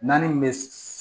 Naani bɛ